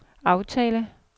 aftale